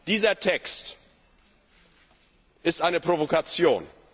Dieser Text ist eine Provokation!